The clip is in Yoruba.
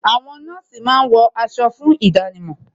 Àwọn nọ́ọ̀sì máa ń wọ aṣọ fún ìdánimọ̀